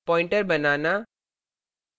pointer pointer banana